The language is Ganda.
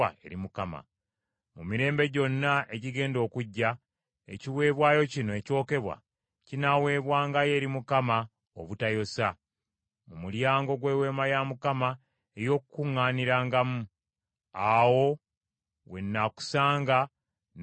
“Mu mirembe gyonna egigenda okujja, ekiweebwayo kino ekyokebwa kinaaweebwangayo eri Mukama obutayosa, mu mulyango gw’Eweema ey’Okukuŋŋaanirangamu. Awo we nnaakusanga ne njogera naawe.